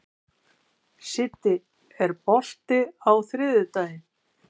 Siddi, er bolti á þriðjudaginn?